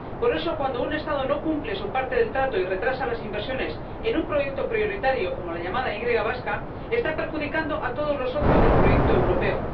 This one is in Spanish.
Por eso cuando un Estado no cumple su parte del trato y retrasa las inversiones en un proyecto prioritario como la llamada Y vasca, está perjudicando a todos los socios del proyecto europeo.